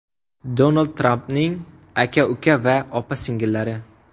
Donald Trampning aka-uka va opa-singillari.